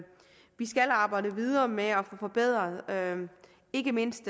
skal arbejde videre med at få forbedret ikke mindst